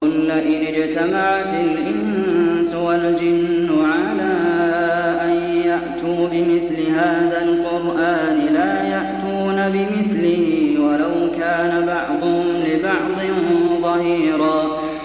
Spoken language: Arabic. قُل لَّئِنِ اجْتَمَعَتِ الْإِنسُ وَالْجِنُّ عَلَىٰ أَن يَأْتُوا بِمِثْلِ هَٰذَا الْقُرْآنِ لَا يَأْتُونَ بِمِثْلِهِ وَلَوْ كَانَ بَعْضُهُمْ لِبَعْضٍ ظَهِيرًا